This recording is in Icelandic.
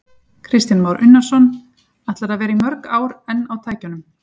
Kristján Már Unnarsson: Ætlarðu að vera í mörg ár enn á tækjum?